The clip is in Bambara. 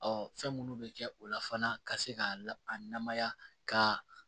fɛn munnu be kɛ o la fana ka se ka a namaya ka